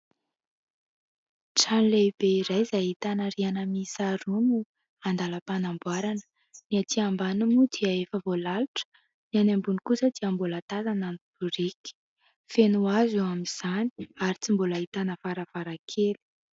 Trano lehibe iray izay ahitana rihana miisa roa no andalam-panamboarana. Ny aty ambany moa dia efa voalalotra, ny any ambony kosa dia mbola tazana ny biriky. Feno hazo eo amin'izany ary tsy mbola ahitana varavarankely.